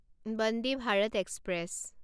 Vande Bharat express